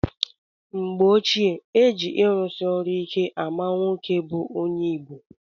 Mgbe gboo, e ji ịrụsị ọrụ ike ama nwoke bụ onye Igbo.